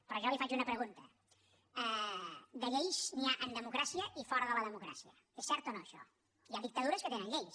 però jo li faig una pregunta de lleis n’hi ha en democràcia i fora de la democràcia és cert o no això hi ha dictadures que tenen lleis